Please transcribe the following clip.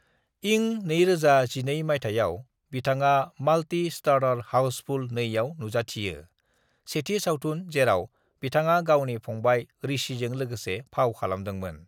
"इं 2012 मायथाइयाव बिथाङा मल्टी-स्टारर हाउसफुल 2 आव नुजाथियो, सेथि सावथुन जेराव बिथाङा गावनि फंबाय ऋषिजों लोगोसे फाव खालामदोंमोन।"